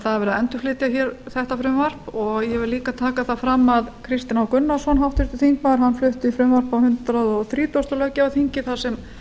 það er verið að endurflytja þetta frumvarp og ég vil líka taka það fram að háttvirtur þingmaður kristinn h gunnarsson flutti frumvarp á hundrað þrítugasta löggjafarþingi þar sem